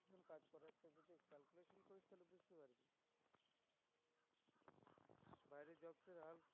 বাইরের jobs এর হাল